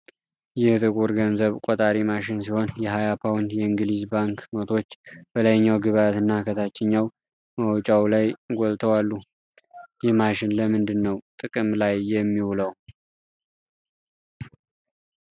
ይህ ጥቁር ገንዘብ ቆጣሪ ማሽን ሲሆን፣ የሃያ ፓውንድ የእንግሊዝ ባንክ ኖቶች በላይኛው ግብዓት እና ከታችኛው መውጫው ላይ ጎልተው አሉ። ይህ ማሽን ለምንድነው ጥቅም ላይ የሚውለው?